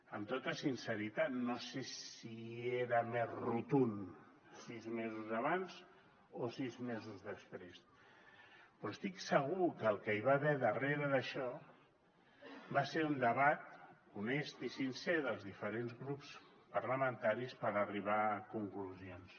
amb tota sinceritat no sé si era més rotund sis mesos abans o sis mesos després però estic segur que el que hi va haver darrere d’això va ser un debat honest i sincer dels diferents grups parlamentaris per arribar a conclusions